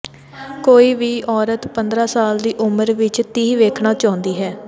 ਕੋਈ ਵੀ ਔਰਤ ਪੰਦਰਾਂ ਸਾਲ ਦੀ ਉਮਰ ਵਿਚ ਤੀਹ ਵੇਖਣਾ ਚਾਹੁੰਦੀ ਹੈ